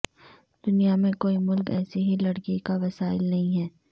دنیا میں کوئی ملک ایسی ہی لکڑی کا وسائل نہیں ہے